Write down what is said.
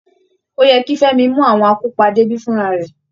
Ó yẹ kí Femi mú àwọn akópa débí fúnra rẹ̀